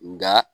Nka